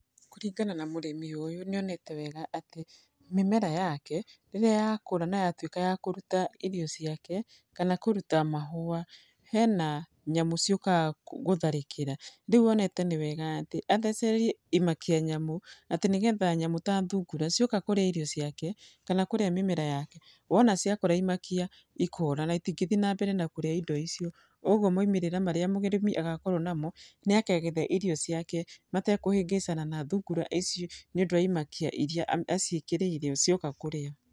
Kũringana na mũrĩmi ũyũ nĩ onete wega atĩ mĩmera yake rĩrĩa yakũra na yatuĩka ya kũruta irio ciake, kana kũruta mahũa, hena nyamũ ciũkaga gũtharĩkĩra. Rĩu onete nĩ wega atĩ athecererie imakia nyamũ atĩ nĩ getha nyamũ ta thungura cioka kũrĩa irio ciake kana kũrĩa mĩmera yake, wona ciakora imakia ikora na itingĩthiĩ nambere na kũrĩa indo icio. Ũguo moimĩrĩra marĩa mũrĩmi agakorwo namo nĩ akagetha irio ciake matekũhĩngĩcana na thungura icio, nĩ ũndũ wa imakia iria aciĩkĩrĩire o cioka kũrĩa.